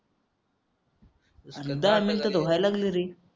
डाग नंतर धुवायलंय लागला रे